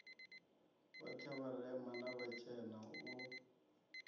vhoṱhe vharema na vhatshena u